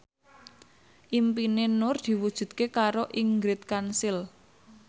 impine Nur diwujudke karo Ingrid Kansil